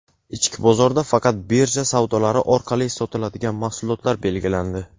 Ichki bozorda faqat birja savdolari orqali sotiladigan mahsulotlar belgilandi.